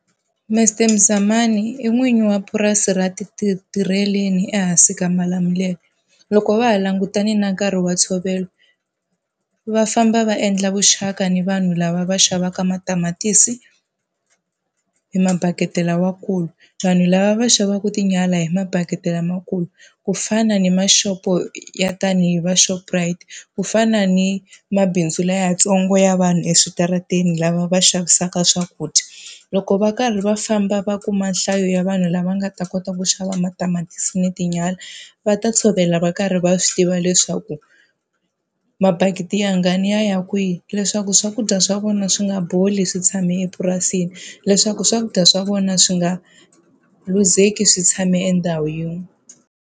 Mr Mzanani i n'winyi wa purasi ra Titirheleni ehansi ka Malamulele. Loko va ha langutane na nkarhi wa ntshovelo, va famba va endla vuxaka ni vanhu lava va xavaka matamatisi hi mabaketi lamakulu. Vanhu lava va xavaka tinyala hi mabaketi lamakulu, ku fana ni maxopo ya tanihi vo Shoprite, ku fana ni mabindzu lamantsongo ya vanhu eswitarateni lava va xavisaka swakudya. Loko va karhi va famba va kuma nhlayo ya vanhu lava nga ta kota ku xava matamatisi na tinyala, va ta tshovela va karhi va swi tiva leswaku mabaketi ya ngani ya ya kwihi, leswaku swakudya swa vona swi nga boli swi tshame epurasini. Leswaku swakudya swa vona swi nga luzeki swi tshame endhawu yin'we.